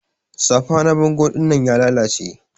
Safa na bango dinnan ya lalace.